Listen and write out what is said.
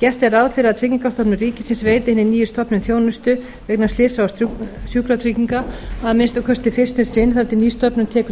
gert er ráð fyrir að tryggingastofnun ríkisins veiti hinni nýju stofnun þjónustu vegna slysa og sjúkratrygginga að minnsta kosti fyrst um sinn þar til ný stofnun tekur til